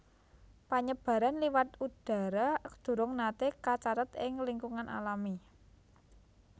Panyebaran liwat udhara durung naté kacathet ing lingkungan alami